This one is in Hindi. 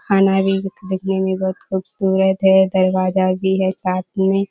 खाना भी देखने मे बहुत खूबसूरत है दरवाजा भी है साथ मे।